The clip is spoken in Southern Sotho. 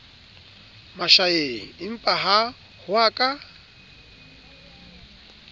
mashaeng empaha ho a ka